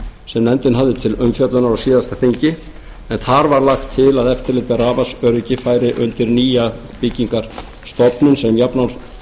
sem nefndin hafði til umfjöllunar á síðasta þingi en þar var lagt til að eftirlit með rafmagnsöryggi færi undir nýja byggingarstofnun sem þátt átti að